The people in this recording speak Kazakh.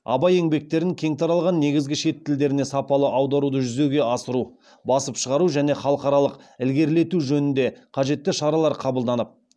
абай еңбектерін кең таралған негізгі шет тілдеріне сапалы аударуды жүзеге асыру басып шығару және халықаралық ілгерілету жөнінде қажетті шаралар қабылданып